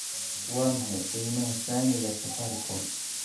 Waa maxay qiimaha saamiga Safaricom?